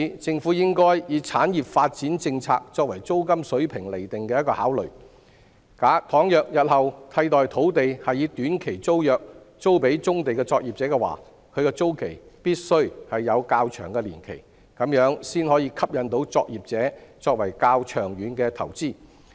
政府應該以產業發展政策作為租金水平釐定的考慮，倘若日後替代土地是以短期租約租予棕地作業者，其租期必須有較長年期，這樣才可以吸引作業者作較長遠的投資。